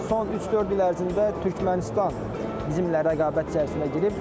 Son 3-4 il ərzində Türkmənistan bizim ilə rəqabət çərçivəsinə girib.